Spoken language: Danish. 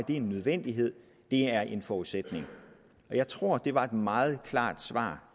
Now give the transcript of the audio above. en nødvendighed det er en forudsætning jeg tror det var et meget klart svar